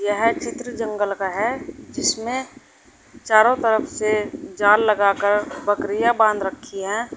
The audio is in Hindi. यह चित्र जंगल का है जिसमें चारों तरफ से जाल लगाकर बकरियां बांध रखी है।